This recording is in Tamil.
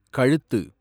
கழுத்து